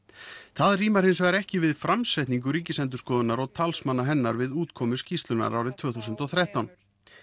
það rímar hins vegar ekki við framsetningu Ríkisendurskoðunar og talsmanna hennar við útkomu skýrslunnar árið tvö þúsund og þrettán